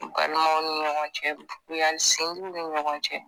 Balimanw ni ɲɔgɔn cɛ juguya sindiw ni ɲɔgɔn cɛ